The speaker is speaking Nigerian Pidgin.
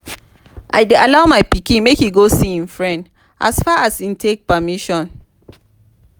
i dey allow my pikin make e go see im friend as far as e take permission